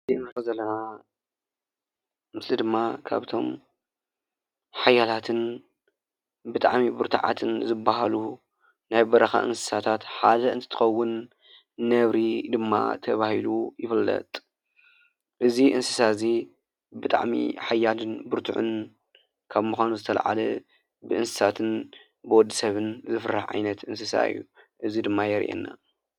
እዚ ንሪኦ ዘለና ምስሊ ድማ ካብቶም ሓያላትን ብጣዕሚ ብርቱዓትን ዝበሃሉ ናይ በረኻ እንስሳታት ሓደ እንትኸውን ነብሪ ድማ ተባሂሉ ይፍለጥ፡፡ እዚ እንስሳ እዚ ብጣዕሚ ሓያልን ብርቱዕን ካብ ምዃኑ ዝተላዕለ ብእንስሳትን ብወዲ ሰብን ዝፍራሕ ዓይነት እንስሳ እዩ፡፡ እዚ ድማ የርኤና፡፡